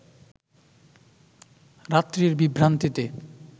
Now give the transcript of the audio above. রাত্রির বিভ্রান্তিতে